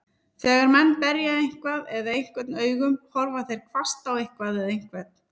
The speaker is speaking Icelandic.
Þegar menn berja eitthvað eða einhvern augum, horfa þeir hvasst á eitthvað eða einhvern.